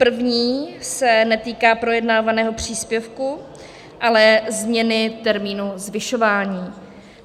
První se netýká projednávaného příspěvku, ale změny termínu zvyšování.